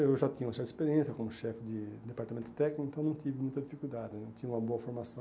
Eu já tinha uma certa experiência como chefe de departamento técnico, então não tive muita dificuldade né, não tinha uma boa formação.